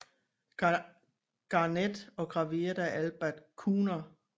Garnett og graveret af Albert Kuner